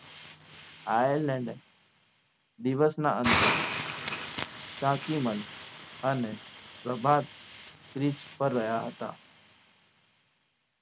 Ireland એ દિવસના અંતે તકીમન અને પ્રભાત pitch ઉપર રહ્યા હતા.